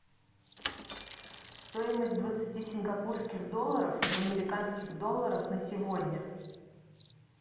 стоимость двадцати сингапурских долларов в американских долларах на сегодня